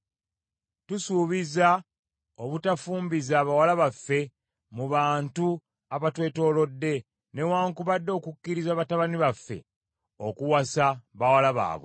“Tusuubiza obutafumbiza bawala baffe mu bantu abatwetoolodde, newaakubadde okukkiriza batabani baffe okuwasa bawala baabwe.